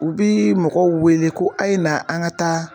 U bi mɔgɔw wele ko a ye na an ka taa.